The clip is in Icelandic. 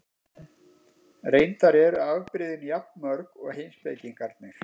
Reyndar eru afbrigðin jafn mörg og heimspekingarnir.